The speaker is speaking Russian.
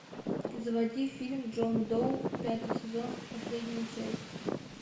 заводи фильм джон доу пятый сезон последняя часть